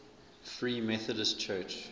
free methodist church